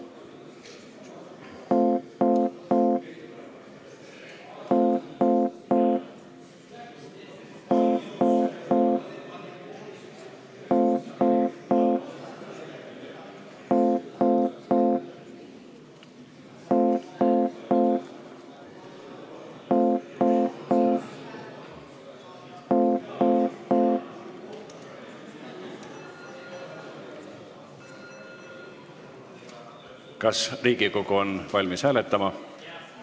Kas Riigikogu on valmis hääletama?